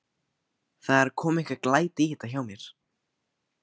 Það er að koma einhver glæta í þetta hjá mér.